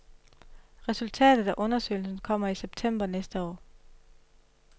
Resultatet af undersøgelsen kommer i september næste år.